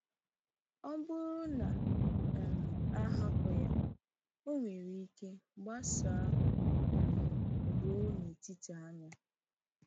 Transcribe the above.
Ọ bụrụ na um a hapụ ya, ọ nwere ike gbasaa um ruo n’etiti anya.